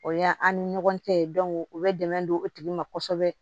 O y'an ni ɲɔgɔn cɛ u bɛ dɛmɛ don o tigi ma kosɛbɛ